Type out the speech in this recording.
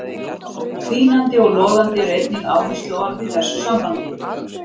Hvínandi og logandi eru einnig áhersluorð í þessu sambandi.